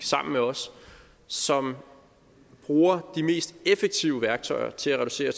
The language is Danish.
sammen med os som bruger de mest effektive værktøjer til at reducere